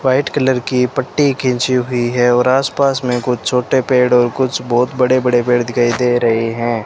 White colour की पट्टी खींची हुई है और आस पास में कुछ छोटे पेड़ और कुछ बहोत बड़े बड़े पेड़ दिखाई दे रहे हैं।